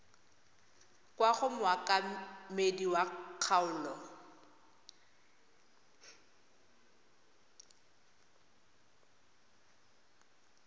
kwa go mookamedi wa kgaolo